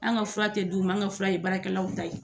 An ka fura tɛ d'u ma, anw ka fura ye baarakɛlaw ta ye.